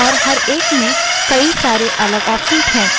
हर एक में कई सारे अलग options हैं